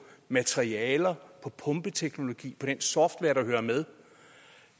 materialer på pumpeteknologi på den software der hører med